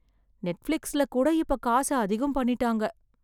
நெட்ஃபிளிக்ஸ்ல கூட இப்ப காசு அதிகம் பண்ணிட்டாங்க.